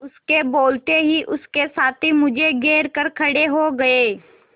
उसके बोलते ही उसके साथी मुझे घेर कर खड़े हो गए